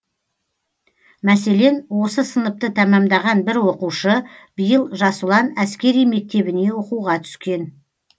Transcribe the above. мәселен осы сыныпты тәмамдаған бір оқушы биыл жас ұлан әскери мектебіне оқуға түскен